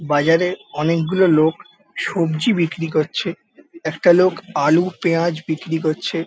বাজারে অনেকগুলো লোক সবজি বিক্রি করছে। একটা লোক আলু পেঁয়াজ বিক্রি করছে।